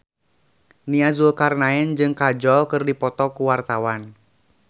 Nia Zulkarnaen jeung Kajol keur dipoto ku wartawan